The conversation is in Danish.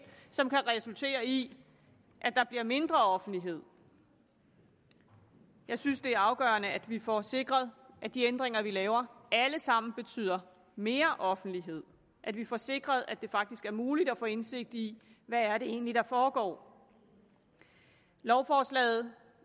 som kan resultere i at der bliver mindre offentlighed jeg synes det er afgørende at vi får sikret at de ændringer vi laver alle sammen betyder mere offentlighed at vi får sikret at det faktisk er muligt at få indsigt i hvad det egentlig er der foregår lovforslaget